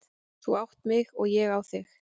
Þú átt mig og ég á þig.